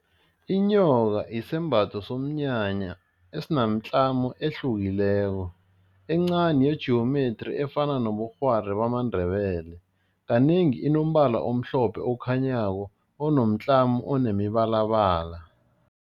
Inyoka isembatho somnyanya esinomtlamo ehlukileko, encani ye-geometry efana nobukghwari bamaNdebele, kanengi inombala omhlophe okhanyako onomtlamo onemibalabala.